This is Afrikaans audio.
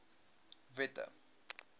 wette